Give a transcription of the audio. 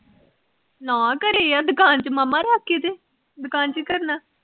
ਨਾ ਘਰੇ ਆ, ਦੁਕਾਨ ਚ ਮਾਮਾ ਰੱਖ ਕੇ ਤੇ, ਦੁਕਾਨ ਚ ਕਿ ਕਰਨਾ।